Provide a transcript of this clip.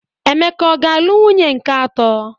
Emeka ọga-alụ nwunye nke atọ?